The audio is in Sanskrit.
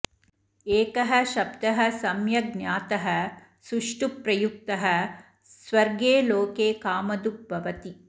एकः शब्दः सम्यग् ज्ञातः सुष्ठु प्रयुक्तः स्वर्गे लोके कामधुग् भवति